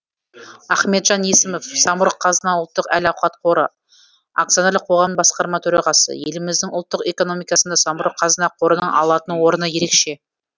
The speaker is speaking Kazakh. ахметжан есімов самұрық қазына ұлттық әл ауқат қоры акционерлік қоғам басқарма төрағасы еліміздің ұлттық экономикасында самұрық қазына қорының алатын орны ерекше